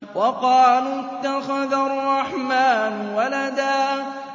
وَقَالُوا اتَّخَذَ الرَّحْمَٰنُ وَلَدًا